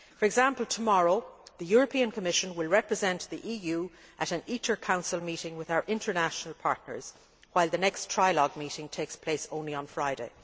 For example, tomorrow the European Commission will represent the EU at an ITER Council meeting with our international partners, while the next trialogue meeting takes place on Friday.